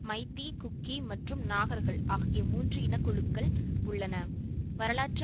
மைத்தி குக்கி மற்றும் நாகர்கள் ஆகிய மூன்று இனக்குழுக்கள் உள்ளன வரலாற்று